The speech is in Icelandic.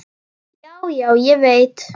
Já, já, ég veit.